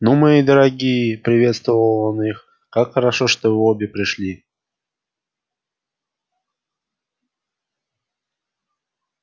ну мои дорогие приветствовал он их как хорошо что вы обе пришли